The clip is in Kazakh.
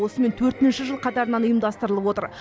осымен төртінші жыл қатарынан ұйымдастырылып отыр